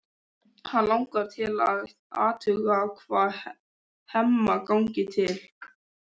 Hana langar til að athuga hvað Hemma gangi til.